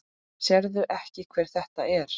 Sérðu ekki hver þetta er?